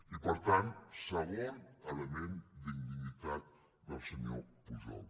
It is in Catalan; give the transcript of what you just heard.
i per tant segon element d’indignitat del senyor pujol